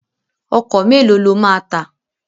Ọkọ̀ mélòó ló máa tà?